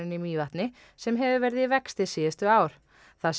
í Mývatni sem hefur verið í vexti síðustu ár það sé